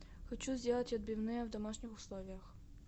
хочу сделать отбивные в домашних условиях